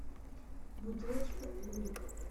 бутылочка юлик